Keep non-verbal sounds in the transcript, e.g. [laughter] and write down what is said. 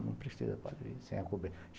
Não precisa [unintelligible] sem